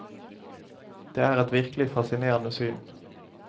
Det er et virkelig fascinerende syn.